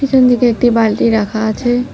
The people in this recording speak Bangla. পিছনদিকে একটি বালতি রাখা আছে।